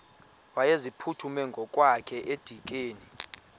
wayeziphuthume ngokwakhe edikeni